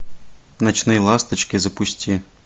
ночные ласточки запусти